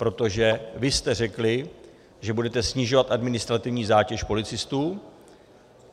Protože vy jste řekli, že budete snižovat administrativní zátěž policistů.